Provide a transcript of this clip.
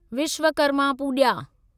Vishwakarma Puja